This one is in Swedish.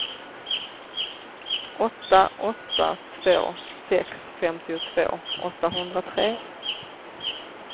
åtta åtta två sex femtiotvå åttahundratre